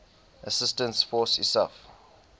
assistance force isaf